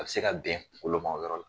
A bɛ se ka bɛn kungolo ma o yɔrɔ la.